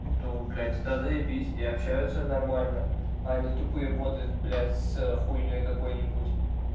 то блядь это заебись и общаются нормально о не тупые боты блядь с хуйней какой-нибудь